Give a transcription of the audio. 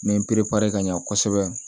N bɛ n perepere ka ɲɛ kosɛbɛ